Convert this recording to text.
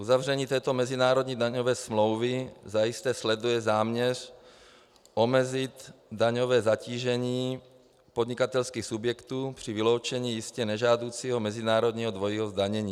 Uzavření této mezinárodní daňové smlouvy zajisté sleduje záměr omezit daňové zatížení podnikatelských subjektů při vyloučení jistě nežádoucího mezinárodního dvojího zdanění.